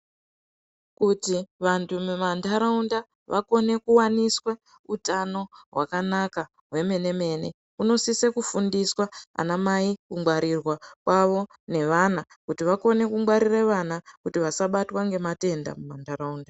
Kuti vantu mumantaraunda vakone kuwaniswa utano hwakanaka hwemene mene unosise kufundiswa anamai kungwarirwa kwavo nevana kuti vakone kungwarire vana kuti vasabatwa ngematenda mumantaraunda.